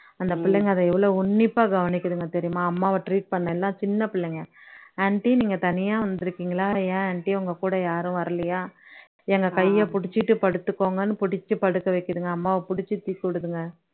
அந்த புள்ளைங்க அதை எவ்ளோ உண்ணிப்பா கவனிக்குதுங்க தெரியுமா அம்மாவ treat பண்ண எல்லாம் சின்ன பிள்ளைங்க aunty நீங்க தனியா வந்துருக்கீங்களா ஏன் aunty உங்க கூட யாரும் வரலையா எங்க கையை புடிச்சுக்கிட்டு படுத்துக்கோங்கன்னு புடிச்சு படுக்க வைக்குதுங்க அம்மாவை புடிச்சு துக்கி விடுதுங்க